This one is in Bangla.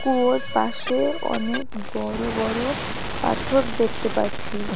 কুয়োর পাশে অনেক বড় বড় পাথর দেখতে পাচ্ছি।